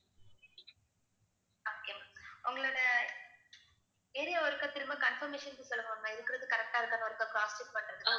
உங்களோட area ஒருக்கா திரும்ப confirmation க்கு சொல்லுங்க ma'am நான் இருக்கிறது correct ஆ இருக்கான்னு ஒருக்கா cross check பண்றதுக்கு